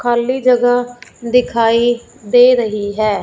खाली जगह दिखाई दे रही है।